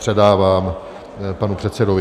Předávám panu předsedovi.